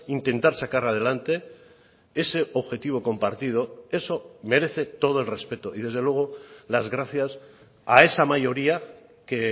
intentar sacar adelante ese objetivo compartido eso merece todo el respeto y desde luego las gracias a esa mayoría que